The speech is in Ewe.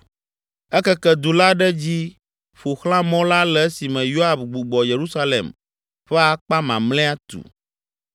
Ekeke du la ɖe edzi ƒo xlã mɔ la le esime Yoab gbugbɔ Yerusalem ƒe akpa mamlɛa tu.